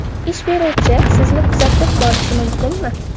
Ish beruvchi sizni kuzatib borishi mumkinmi?